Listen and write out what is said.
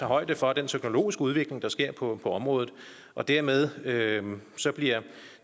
højde for den teknologiske udvikling der sker på området dermed dermed bliver